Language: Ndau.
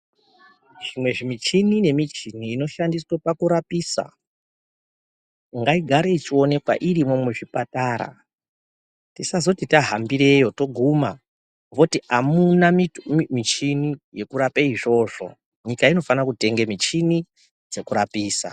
Zvimwe zvimuchini nemichini inoshandiswe pakurapisa, ngaigare ichiwonewa irimo muchipatara. Tisazoti tahambireyo toguma, voti hamuna michini yekurapa izvozvo, nyika inofanire kutenga micheni dzekurapisa.